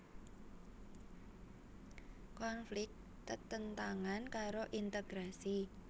Konflik tetentangan karo integrasi